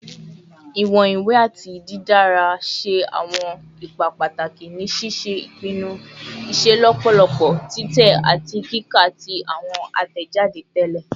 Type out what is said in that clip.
Iwọn iwe ati didara ṣe awọn ipa pataki ni ṣiṣe ipinnu iṣelọpọ titẹ ati kika ti awọn atẹjade tẹlẹ